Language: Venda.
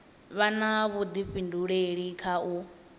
vha na vhuḓifhinduleli kha u